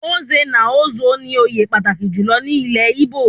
Nze na Ozo ní òye pàtàkì jùlọ ní ilé Igbo